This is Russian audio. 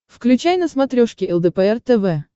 включай на смотрешке лдпр тв